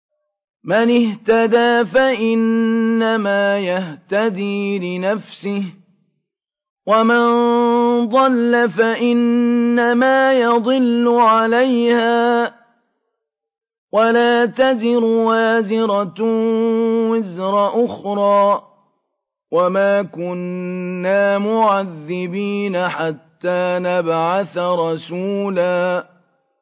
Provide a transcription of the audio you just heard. مَّنِ اهْتَدَىٰ فَإِنَّمَا يَهْتَدِي لِنَفْسِهِ ۖ وَمَن ضَلَّ فَإِنَّمَا يَضِلُّ عَلَيْهَا ۚ وَلَا تَزِرُ وَازِرَةٌ وِزْرَ أُخْرَىٰ ۗ وَمَا كُنَّا مُعَذِّبِينَ حَتَّىٰ نَبْعَثَ رَسُولًا